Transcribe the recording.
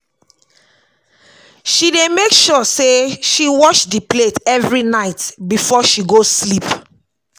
She dey make sure sey she wash di plate every night before she go sleep.